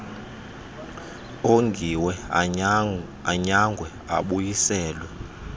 ongiwe anyangwe abuyiselwe